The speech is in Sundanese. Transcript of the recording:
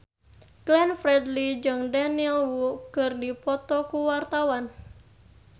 Glenn Fredly jeung Daniel Wu keur dipoto ku wartawan